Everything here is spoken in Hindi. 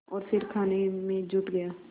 और फिर खाने में जुट गया